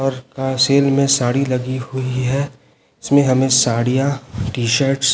और का सेल में साड़ी लगी हुई है इसमें हमें साड़ियां टि शर्ट --